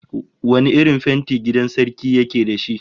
Wane irin fenti gidan sarki yake da shi?